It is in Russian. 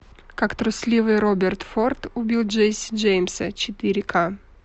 как трусливый роберт форд убил джесси джеймса четыре к